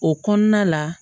O kɔnɔna la